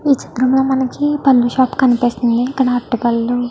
ఈ చిత్రం లో మనకి పండ్ల షాప్ కనిపిస్తుంది కానీ అరటిపళ్ళు --